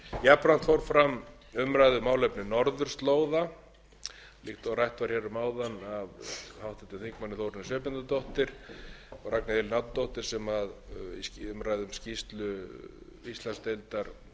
jafnframt fór fram umræða um málefni norðurslóða líkt og rætt var hér um áðan af háttvirtum þingmanni þórunni sveinbjarnardóttur og ragnheiði elínu árnadóttur í umræðu um skýrslu íslandsdeildar þeirra